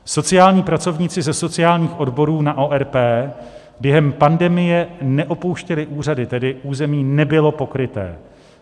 Sociální pracovníci ze sociálních odborů na ORP během pandemie neopouštěli úřady, tedy území nebylo pokryté.